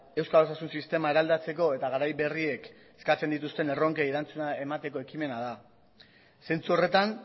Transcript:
euskal osasun sistema eraldatzeko eta garai berriek eskatzen dituzten erronkei erantzuna emateko ekimena da zentzu horretan